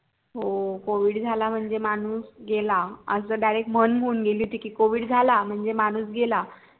हो covid झाला म्हणजे माणूस गेला अंस direct म्हण होऊन गेली होती